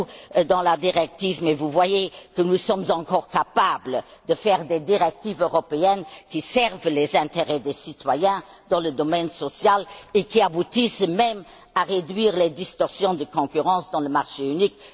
encore dans la directive, mais vous voyez que nous sommes encore capables de faire des directives européennes qui servent les intérêts des citoyens, dans le domaine social, et qui aboutissent même à réduire les distorsions de concurrence dans le marché unique.